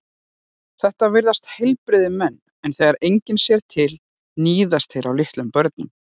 Þetta virðast heilbrigðir menn en þegar enginn sér til níðast þeir á litlum börnum.